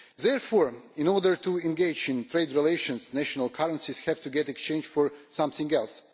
Therefore, in order to engage in trade relations, national currencies have to get exchanged for something else.